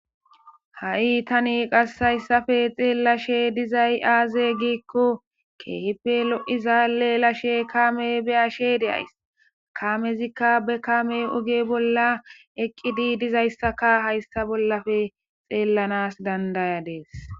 Ha'i tani qassayssafe xeellashe dizay aaze giikko keehipe lo7izaalle lashe kaame be ashe de ays kaamezikka be kaame oge bolla eqqidi dizayssaka haysta bollafe xeellanas dandaya dees